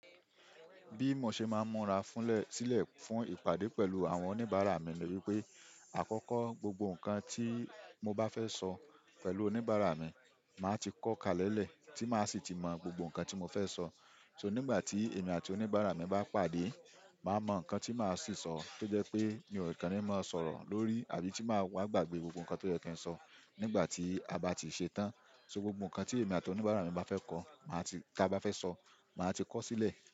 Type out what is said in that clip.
Bí mo ṣe máa ń múra fúnlẹ̀- sílẹ̀ fún ìpàdé pẹ̀lú àwọn oníbàárà mi ni wípé àkọ́kọ́ gbogbo nǹkan tí mo bá fẹ́ sọ pẹ̀lú oníbàárà mi, màá ti kọ́ ká lẹ́lẹ̀ tí màá sì ti mọ gbogbo nǹkan tí mo fẹ́ sọ. So nígbà tí èmi àti oníbàárà mi bá pàdé, màá mọ nǹkan tí màá sì sọ tó jẹ́ pé mi o kan ni màá sọ̀rọ̀ lórí àbí tí màá wá gbàgbé gbogbo nǹkan tó yẹ kí n sọ nígbà tí a bá ti ṣe tán. So gbogbo nǹkan tí èmi àti oníbàárà mi bá fẹ́ kọ́ màá ti-- ká bá fẹ́ sọ, màá ti kọ sílẹ̀.